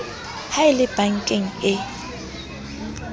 ha e le bankeng e